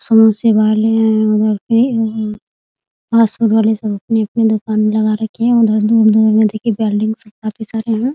समोसे वाले हैं उधर पे पास में वाले सब अपनी-अपनी दुकान लगा रखी हैं उधर काफी सारे यहाँ ।